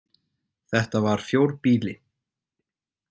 Þetta var fjórbýli.